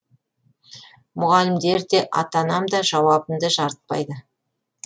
мұғалімдер де ата анам да жауабымды жарытпайды